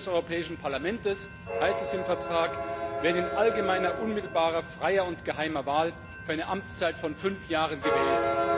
Die Mitglieder des Europäischen Parlamentes, so heißt es im Vertrag, werden in allgemeiner unmittelbarer freier und geheimer Wahl für eine Amtszeit von 5 Jahren gewählt.